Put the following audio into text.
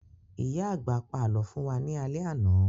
Ìyá àgbà pa àlọ́ fún wa ní alẹ́ àná